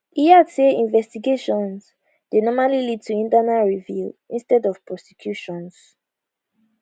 e add say investigations dey normally lead to internal review instead of prosecutions